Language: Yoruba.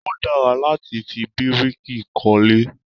Ó dára láti fi bíríkì kọ́lé